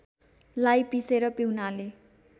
लाई पीसेर पीउनाले